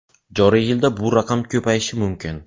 Joriy yilda bu raqam ko‘payishi mumkin.